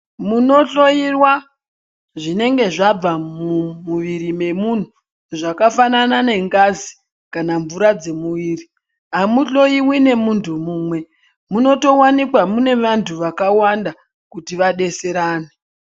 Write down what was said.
Munohloiwa zvinenge zvabva mumwiri wemunhu zvakafanana nengazi kana mvura dzemuviri amuhloiwi nemuntu umwe munoto wanikwa mune vantu vakawanda kuti vadetserane.